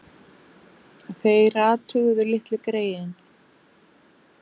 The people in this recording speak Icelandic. Þeir athuguðu litlu greyin.